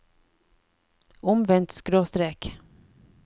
omvendt skråstrek